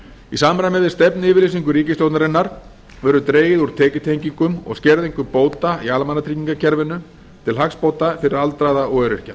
í samræmi við stefnuyfirlýsingu ríkisstjórnarinnar verður dregið úr tekjutengingum og skerðingum bóta í almannatryggingakerfinu til hagsbóta fyrir aldraða og öryrkja